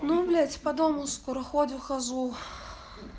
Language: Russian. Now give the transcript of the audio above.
ну блять по дому скоро ходю хожу